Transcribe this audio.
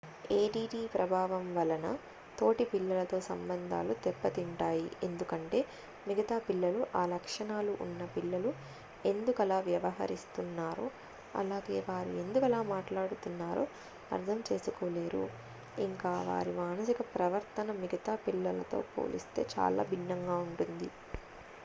add ప్రభావం వలన తోటి పిల్లలతో సంబంధాలు దెబ్బ తింటాయి ఎందుకంటే మిగతా పిల్లలు ఆ లక్షణాలు ఉన్న పిల్లలు ఎందుకలా వ్యవహరిస్తున్నారో అలాగే వారు ఎందుకలా మాట్లాడుతున్నారో అర్థం చేసుకోలేరు ఇంకా వారి మానసిక ప్రవర్తన మిగతా పిల్లలతో పోలిస్తే చాలా భిన్నంగా ఉంటుంది